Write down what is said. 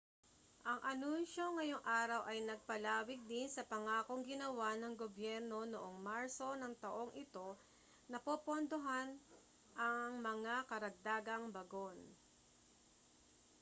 ang anunsiyo ngayong araw ay nagpalawig din sa pangakong ginawa ng gobyerno noong marso ng taong ito na popondohan ang mga karagdagang bagon